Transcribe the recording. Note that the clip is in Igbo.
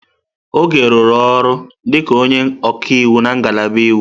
Oge rụrụ ọrụ dịka onye ọka iwu na ngalaba iwu.